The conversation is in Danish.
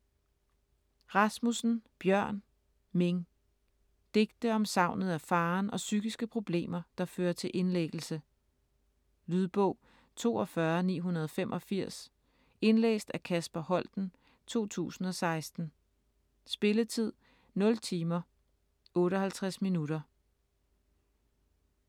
Rasmussen, Bjørn: Ming Digte om savnet af faderen og psykiske problemer, der fører til indlæggelse. Lydbog 42985 Indlæst af Kasper Holten, 2016. Spilletid: 0 timer, 58 minutter.